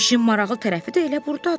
İşin maraqlı tərəfi də elə burdadır.